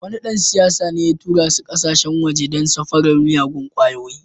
Wani dan siyasa ne ya tura su kasashen waje don safarar miyagun kwayoyi.